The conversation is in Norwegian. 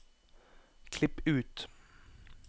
Klipp ut